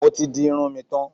Mo ti di irun tán.